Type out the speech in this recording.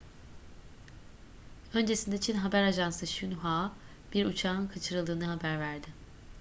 öncesinde çin haber ajansı xinhua bir uçağın kaçırıldığını haber verdi